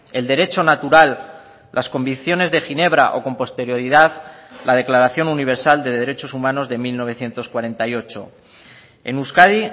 el derecho natural las convicciones de ginebra o con posterioridad la declaración universal de derechos humanos de mil novecientos cuarenta y ocho en euskadi